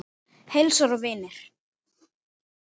Heilsan og vinir.